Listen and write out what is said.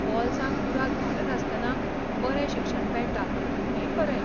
बोल्सांक बुराक घालनासतना बरें शिक्षण मेळटा हें खरें.